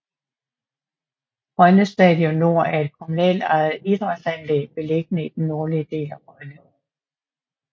Rønne Stadion Nord er et kommunalt ejet idrætsanlæg beliggende i den nordlige del af Rønne